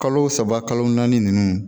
Kalo saba kalo naani nunnu